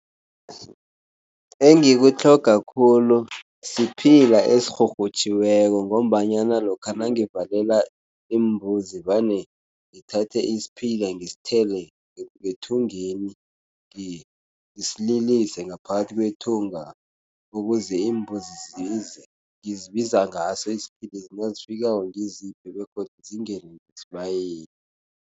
Engikutlhoga khulu siphila esirhurhutjhiweko ngombanyana lokha nangivalela iimbuzi vane ngithathe isiphila ngisithele ngethungeni ngisililise ngaphakathi kwethunga ukuze imbuzi zize. Ngizibiza ngaso isiphila, nazifikako ngiziphi begodu zingene ngesibayeni.